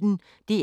DR P1